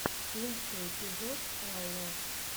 лучший эпизод элло